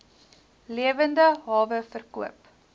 lewende hawe verkoop